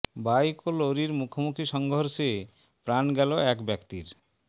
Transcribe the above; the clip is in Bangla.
বাইক ও লরির মুখোমুখি সংঘর্ষে প্রাণ গেল এক ব্যক্তির